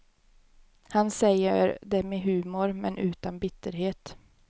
Han säger det med humor men utan bitterhet.